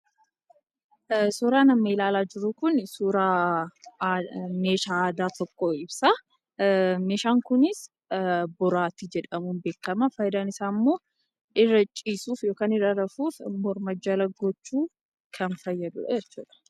Suuraan amma ilaalaa jirru kun, suuraa meeshaa aadaa tokko ibsa. Meeshaan kunis boraatii jedhamuun beekkama. Faayidaan isaammoo irra ciisuuf yookaan irra rafuuf, morma jala gochuuf kan fayyaduudha jechuudha.